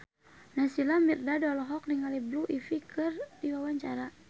Naysila Mirdad olohok ningali Blue Ivy keur diwawancara